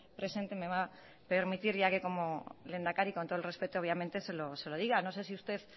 presente me va a permitir ya que como lehendakari con todo el respeto obviamente se lo diga no sé si usted